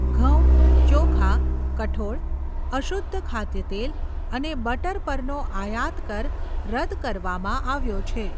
ઘઉં ચોખા, કઠોળ, અશુધ્ધ ખાદ્યતેલ અને બટર પરનો આયાત કર રદ કરવામાં આવ્યો છે.